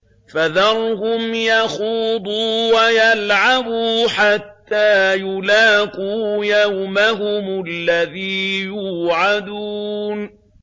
فَذَرْهُمْ يَخُوضُوا وَيَلْعَبُوا حَتَّىٰ يُلَاقُوا يَوْمَهُمُ الَّذِي يُوعَدُونَ